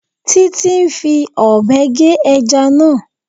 Títí ń fi Ọ̀bẹ gé ẹja náà